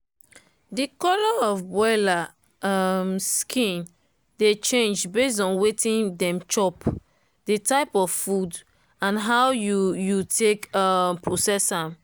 the colour of broiler um skin dey change based on wetin dem chop the type of bird and how you you take um process am.